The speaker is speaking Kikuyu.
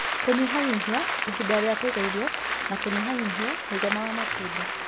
Kũnyihanyihia ihinda rĩa kũiga irio na kũnyihanyihia mũigana wa matunda.